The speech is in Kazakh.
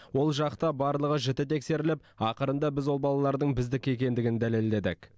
ол жақта барлығы жіті тексеріліп ақырында біз ол балалардың біздікі екендігін дәлелдедік